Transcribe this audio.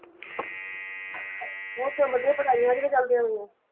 ਹੋਰ ਸਭ ਵਧੀਆ ਪੜ੍ਹਾਈਆਂ ਕਿਵੇਂ ਚੱਲਦੀਆਂ ਤੇਰੀਆਂ?